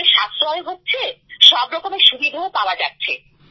সময়েরও সাশ্রয় হচ্ছে সব রকমের সুবিধা পাওয়া যাচ্ছে